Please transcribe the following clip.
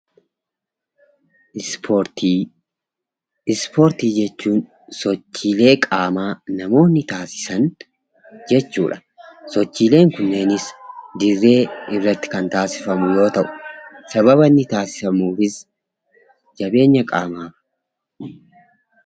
Ispoortii. Ispoortii jechuun sochiilee qaamaa namoonni taasisan jechuudha. Sochiileen kunneenis dirree irratti kan taasifamu yoo ta'u sababa inni taasifamuufis jabeenya qaamaa.